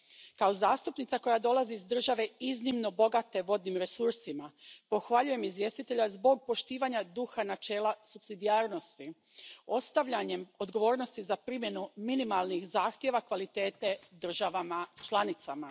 Kao zastupnica koja dolazi iz države iznimno bogate vodnim resursima pohvaljujem izvjestitelja zbog poštivanja duha načela supsidijarnosti, ostavljanjem odgovornosti za primjenu minimalnih zahtjeva kvalitete državama članicama.